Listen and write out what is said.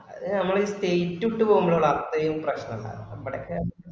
അത് നമ്മള് ഈ state വിട്ട് പോമ്പോളാ അത്രയു പ്രെശ്നം ഇണ്ടാവുക അപ്പോഴൊക്കെ